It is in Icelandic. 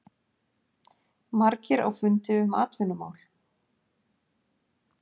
Margir á fundi um atvinnumál